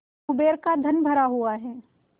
कुबेर का धन भरा हुआ है